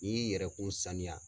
N'i y'i yɛrɛkun saniya